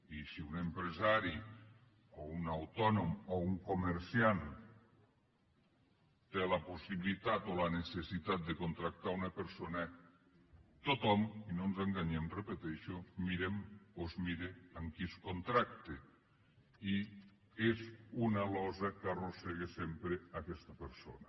i si un empresari o un autònom o un comerciant té la possibilitat o la necessitat de contractar una persona tothom i no ens enganyem ho repeteixo mirem o es mira a qui es contracta i és una llosa que arrossega sempre aquesta persona